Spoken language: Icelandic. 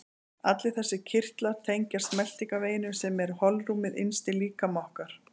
Allir þessir kirtlar tengjast meltingarveginum sem er holrúmið innst í líkama okkar.